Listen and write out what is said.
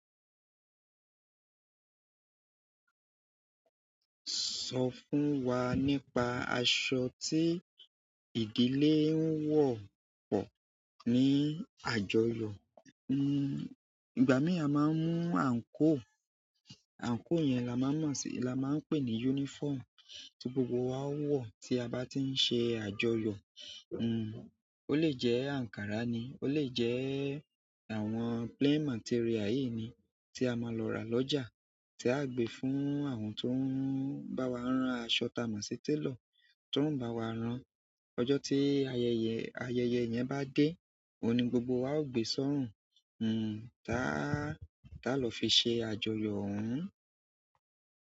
Sọ fún wa nípa aṣọ tí ìdílé ń wọ̀ pọ̀ ní àjọyọ̀. Hmm, ìgbà mí à máa ń mú àǹkóò, àǹkóò yẹn la maa mọ̀ sí, la máa ń pè ní uniform, tí gbogbo wa ó wọ̀ tí a bá ti ń ṣe àjọyọ̀. Hmm, ó lè jẹ́ ankara ni, ó lè jẹ́ àwọn plain material yìí ni tí a máa lọ rà lọ́jà, tí a gbe fún àwọn tó ń bá wa rán aṣọ tà máa sí tailor ti won o bá wa rán. Ọjọ́ tí ayẹyẹ, ayẹyẹ yẹn bá dé, ohun ni gbogbo wa ó gbe sọ́rùn. Hmm, táa, tá lọ fi ṣe àjọyọ̀ ohun.